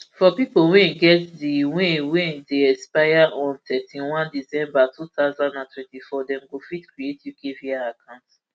for pipo wey get di brps wey brps wey dey expire on thirty-one december two thousand and twenty-four dem go fit create ukvi account